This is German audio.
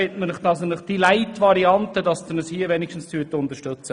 Ich bitte Sie, uns wenigstens in dieser Light-Variante zu unterstützen.